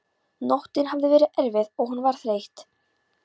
Nóttin hafði verið erfið og hún var þreytt.